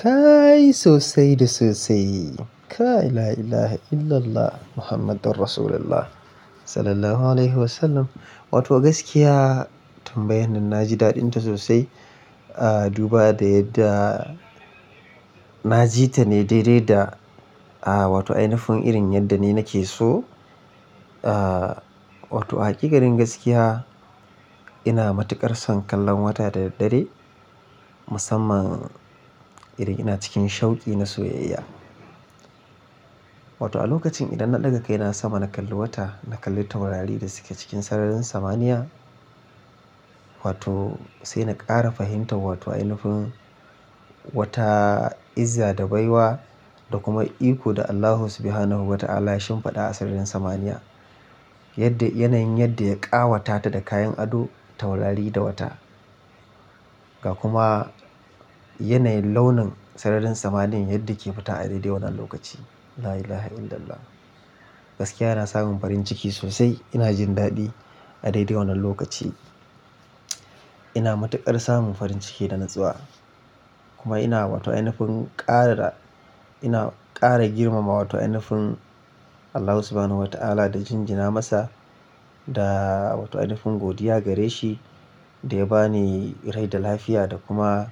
Kaaai sosai da sosai. Ka la ilahe illallah Muhammadur Rasulullah sallallahu alaihi wasallam. Wato gaskiya tambayan nan na ji daɗinta sosai, ah duba da yadda na ji ta ne daidai da ah wato ainifin irin yadda ni nake so. Ah wato a hakikarin gaskiya ina matuƙar son kallon wata da daddare musamman irin ina cikin shauki na soyayya. Wato a lokacin idan na ɗaga kai na sama na kalli wata, na kalli taurari da suke cikin sararin samaniya. Wato sai na ƙara fahimtar wato ainifin wata, izza da baiwa da kuma iko da Allah subhanahu wa ta'ala ya shimfiɗa a sararin samaniya. Yadda yanayin yadda ya ƙawata ta da kayan ado taurari da wata. Ga kuma yanayin launin sararin samaniyan yadda ke fita a daidai wannan lokaci. La ilahe illallah. Gaskiya ana samun farin ciki sosai ina jin daɗi a daidai wannan lokaci. Ina matuƙar samun farin ciki da natsuwa. Kuma ina wato ainifin ƙara, ina ƙara girmama wato ainifin Allah subhanahu wa ta'ala da jinjina masa da wato ainifin godiya gare shi da ya ba ni rai da lafiya da kuma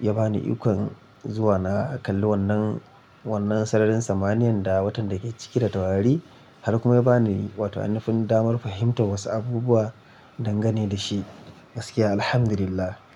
ya ba ni ikon zuwa na kalli wannan, wannan sararin samaniyan da watan da ke cike da taurari. Har kuma ya ba ni wato ainifin damar fahimtar wasu abubuwa dangane da shi. Gaskiya alhamdulillah.